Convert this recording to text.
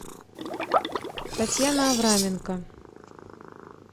татьяна авраменко